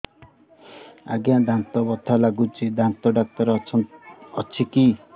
ଆଜ୍ଞା ଦାନ୍ତରେ ବଥା ଲାଗୁଚି ଦାନ୍ତ ଡାକ୍ତର ଅଛି କି